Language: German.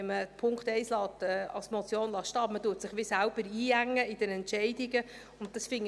Wenn man den Punkt 1 als Motion stehen lässt, engt man sich bei den Entscheidungen jedoch gewissermassen selbst ein.